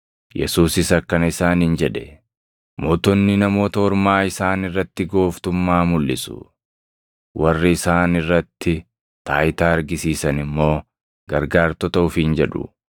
Yesuusis akkana isaaniin jedhe; “Mootonni Namoota Ormaa isaan irratti gooftummaa mulʼisu; warri isaan irratti taayitaa argisiisan immoo Gargaartota ofiin jedhu.